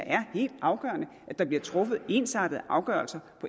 er helt afgørende at der bliver truffet ensartede afgørelser